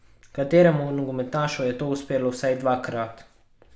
Kateremu nogometašu je to uspelo vsaj dvakrat?